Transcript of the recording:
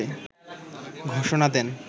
ঘোষণা দেন